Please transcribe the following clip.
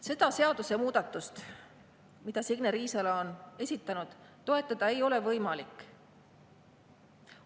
Seda seadusemuudatust, mille Signe Riisalo on esitanud, toetada ei ole võimalik.